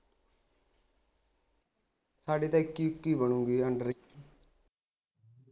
ਸਾਡੇ ਤਾਂ ਇੱਕੀ ਇੱਕੀ ਬਣੂਗੀ under ਇੱਕੀ